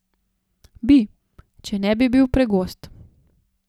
Bi, če ne bi bil pregost.